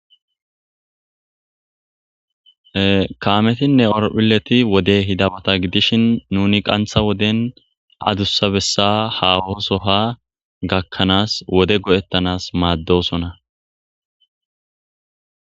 Kaametinne orophileti wode hidamota gidishin nuni qantha woden adussabessa hahoosoha gakkanaas wode go'ettanas maaddosona,